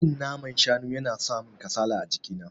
Cin naman shanu yana samin kasala a jiki na.